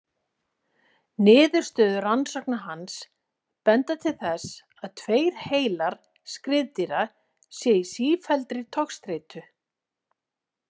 Niðurstöður rannsókna hans benda til þess að tveir heilar skriðdýra séu í sífelldri togstreitu.